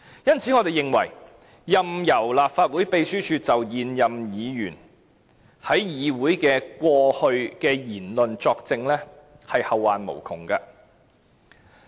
因此，我們認為，任由立法會秘書處就現任議員過去在議會所作出的言論作證，是後患無窮的。